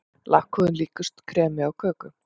Lakkhúðin líkust kremi á köku.